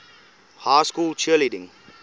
high school cheerleading